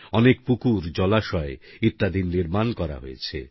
অনেক পুকুর জলাশয় ইত্যাদির নির্মাণ করা হয়েছে